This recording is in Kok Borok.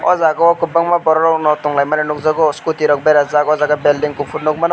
o jaga o kobangma borok rok no tonglai mani nogjago scooty rok beraijak o jaga belding kopor nogmano.